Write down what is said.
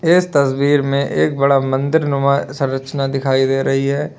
इस तस्वीर में एक बड़ा मंदिर नुमा संरचना दिखाई दे रही है।